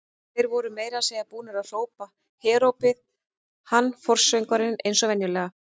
Þeir voru meira að segja búnir að hrópa herópið, hann forsöngvarinn eins og venjulega.